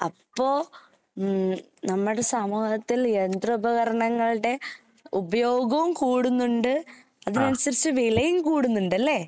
അപ്പോ ഉം നമ്മടെ സമൂഹത്തിൽ യന്ത്ര ഉപകരണങ്ങളുടെ ഉപയോഗവും കൂടുന്നുണ്ട് അതിനനുസരിച്ച് വിലയും കൂടുന്നുണ്ടല്ലേ?